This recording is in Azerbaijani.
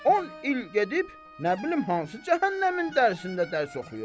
On il gedib nə bilim hansı cəhənnəmin dərsində dərs oxuyub.